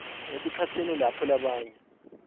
esikhatsini lapho labanye